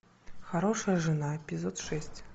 хорошая жена эпизод шесть